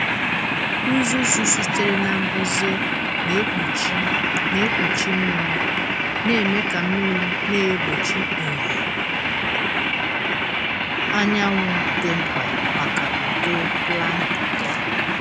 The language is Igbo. Uzuzu sitere na mbuze na-ekpuchi na-ekpuchi mmiri, na-eme ka mmiri na-egbochi ìhè anyanwụ dị mkpa maka uto plankton.